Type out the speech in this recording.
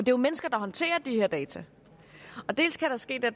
jo mennesker der håndterer de her data dels kan der ske det